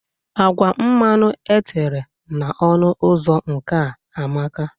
Agwa mmanụ etere na ọnụ ụzọ nke a amaka.